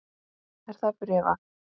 Er það bréfað?